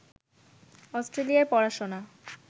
অস্ট্রেলিয়ায় পড়াশোনা